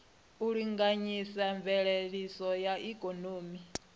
u linganyisa mveledziso ya ikonomi